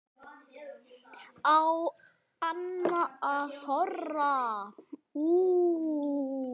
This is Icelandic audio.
Á hann að þora?